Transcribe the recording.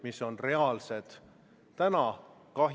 Kolmas muudatusettepanek, mille on esitanud Eesti Reformierakonna fraktsioon.